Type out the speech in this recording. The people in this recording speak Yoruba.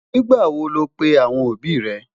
nígbà wò ló pè àwọn òbí ré?